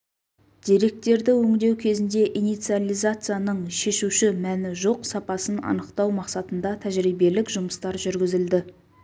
деректерді өңдеу кезінде инициализацияның шешуші мәні жоқ сапасын анықтау мақсатында тәжірибелік жұмыстар жүргізілді